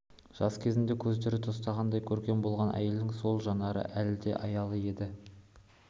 жас кезінде көздері тостағандай көркем болған әйелдің сол жанары әлі де аялы еді